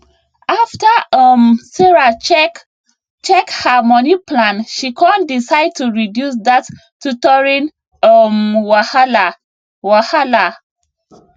after um sarah check check her money plan she con decide to reduce dat tutoring um wahala wahala